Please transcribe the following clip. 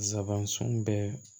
Zabansun bɛ